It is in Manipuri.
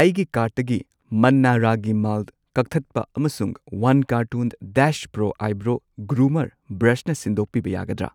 ꯑꯩꯒꯤ ꯀꯥꯔꯇꯨꯟ ꯃꯟꯅꯥ ꯔꯥꯒꯤ ꯃꯥꯜꯠ ꯀꯛꯊꯠꯄ ꯑꯃꯁꯨꯡ ꯋꯥꯟ ꯀꯥꯔꯇꯟ ꯗꯦꯁ ꯄ꯭ꯔꯣ ꯑꯥꯏꯕ꯭ꯔꯣ ꯒ꯭ꯔꯨꯃꯔ ꯕ꯭ꯔꯁꯅ ꯁꯤꯟꯗꯣꯛꯄꯤꯕ ꯌꯥꯒꯗ꯭ꯔꯥ?